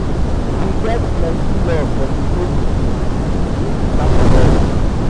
we get plenty love for di new pikin im be part of us.